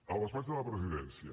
el despatx de la presidència